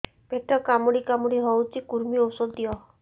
ପେଟ କାମୁଡି କାମୁଡି ହଉଚି କୂର୍ମୀ ଔଷଧ ଦିଅ